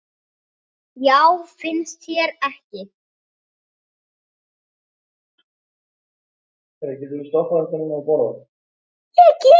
Já, finnst þér ekki?